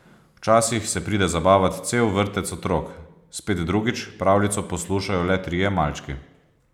Včasih se pride zabavat cel vrtec otrok, spet drugič pravljico poslušajo le trije malčki.